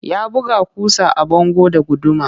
Ya buga ƙusa a bango da guduma